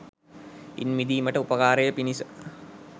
ඉන් මිදීමට උපකාරය පිණිස